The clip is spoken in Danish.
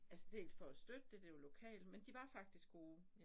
Altså dels for at støtte det det jo lokalt men de var faktisk gode